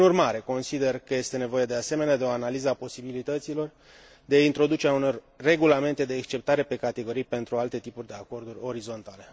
Prin urmare, consider că este nevoie, de asemenea, de o analiză a posibilităților de a introduce uneori regulamente de exceptare pe categorii pentru alte tipuri de acorduri orizontale.